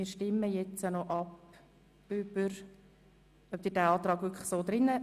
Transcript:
Nun stimmen wir über die Annahme des Mehrheits-Antrags.